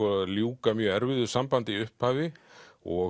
ljúka mjög erfiðu sambandi í upphafi og